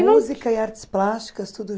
Música e artes plásticas tudo